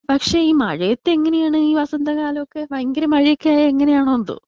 പക്ഷെ ഈ മഴേത്ത് എങ്ങനെയാണ് ഈ വസന്ത കാലൊക്കെ ഭയങ്കര മഴയൊക്കെ ആയ എങ്ങനെയാണോ എന്തോ?